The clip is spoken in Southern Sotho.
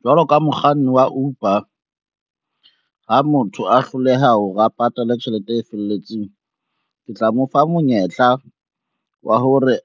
Jwalo ka mokganni wa Uber, ha motho a hloleha hore a patale tjhelete e felletseng, ke tla mo fa monyetla wa hore